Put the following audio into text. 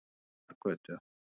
Lindargötu